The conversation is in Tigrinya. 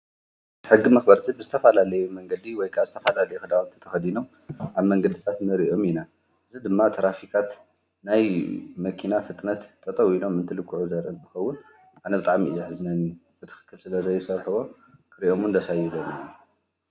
ሕጊ መኽበርቲድ ብስተፋላለየ መንገዲ ወይ ዝተፋላልይ ኽዳዊት ተኸዲ ኖዉ ኣብ መንገድታት ነርእዮም ኢና ዝ ድማ ተራፊካት ናይ መኪና ፍጥነት ጠጠው ኢሎም እንት ልክዑ ዘርን ምኸውን ኣነብጣዓሚኢያሕ ዝነኒ ብትኽክል ስለ ዘይሰርፈቦ ክርእኦሙን ደሳይለን።